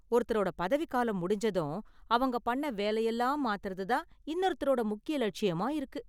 ஒருத்தரோட பதவி காலம் முடிஞ்சதும் அவங்க பண்ண வேலையெல்லாம் மாத்தறது தான் இன்னொருத்தரோட முக்கிய லட்சியமா இருக்கு.